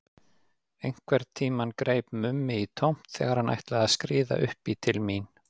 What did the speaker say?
Einhvern tímann greip Mummi í tómt þegar hann ætlaði að skríða upp í til mín.